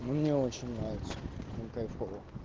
мне очень нравится мне кайфово